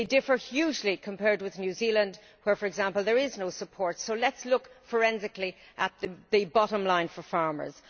They differ hugely compared with New Zealand where, for example, there is no support, so let us look forensically at the bottom line for farmers.